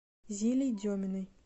зилей деминой